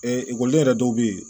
ekɔli yɛrɛ dɔw bɛ yen